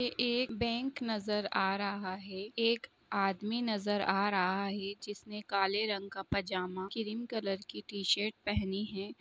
एक बैंक नज़र आ रहा है एक आदमी नज़र आ रहा है जिसने काले रंग का पजामा क्रीम कलर की टीशर्ट पहनी हैं।